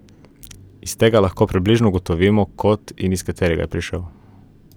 Iz tega lahko približno ugotovimo kot, iz katerega je prišel.